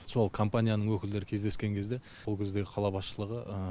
сол компанияның өкілдері кездескен кезде сол кезде қала басшылығы